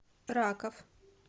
раков